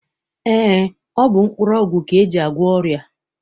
Eé, ọ bụ mkpụrụọgwụ ka e ji agwọ ọrịa.